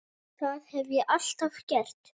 Það hef ég alltaf gert